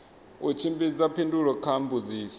u tshimbidza phindulo kha mbudziso